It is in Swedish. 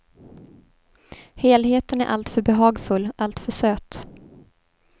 Helheten är alltför behagfull, alltför söt.